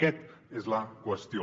aquesta és la qüestió